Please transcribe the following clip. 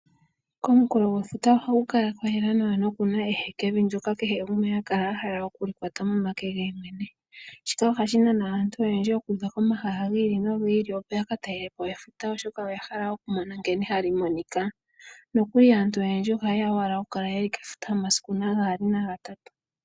Komunkulo gwefuta ohaku kala kwa yela nawa no kuna ehekevi ndyoka kehe gumwe ha kala a hala oku kwata momake ge ye mwene. Ohashi nana aantu oyendji okuza komahala gi ili nogi ili opo yaka talelepo efuta oshoka oya hala okumona nkene hali monika. Nokuli aantu oyendji oha yeya owala oku kala kefuta omasiku gaali na gatatu.